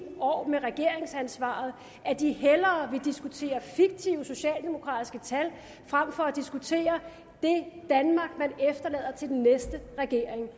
år med regeringsansvaret at de hellere vil diskutere fiktive socialdemokratiske tal frem for at diskutere det danmark man efterlader til den næste regering det